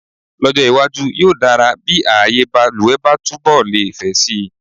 Lọ́jọ́ iwájú, yóò dára bí ààyèbaluwẹ̀ bá túnbọ̀ lè fẹ̀ si.